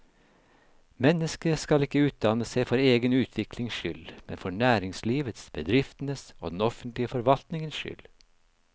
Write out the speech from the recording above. Mennesket skal ikke utdanne seg for egen utviklings skyld, men for næringslivets, bedriftenes og den offentlige forvaltningens skyld.